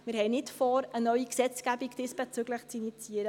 Wir haben nicht vor, diesbezüglich eine neue Gesetzgebung zu initiieren.